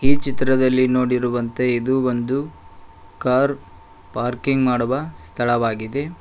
ಈ ಚಿತ್ರದಲ್ಲಿ ನೋಡಿರುವಂತೆ ಇದು ಒಂದು ಕಾರ್ ಪಾರ್ಕಿಂಗ್ ಮಾಡುವ ಸ್ಥಳವಾಗಿದೆ.